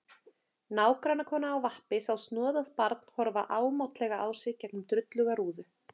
Nágrannakona á vappi sá snoðað barn horfa ámátlega á sig gegnum drulluga rúðu.